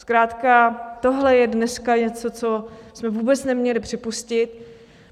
Zkrátka tohle je dneska něco, co jsme vůbec neměli připustit.